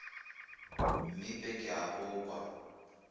mmipe ke a go kwa